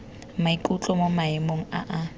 maikutlo mo maemong a a